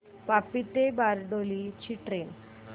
वापी ते बारडोली ची ट्रेन